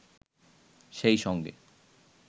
সেই সঙ্গে